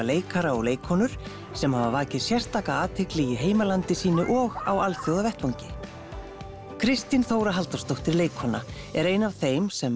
leikara og leikkonur sem hafa vakið sérstaka athygli í heimalandi sínu og á alþjóðlegum vettvangi Kristín Þóra Halldórsdóttir leikkona er ein af þeim sem